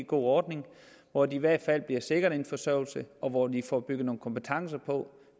god ordning hvor de i hvert fald bliver sikret en forsørgelse og hvor de får bygget nogle kompetencer på